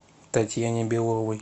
татьяне беловой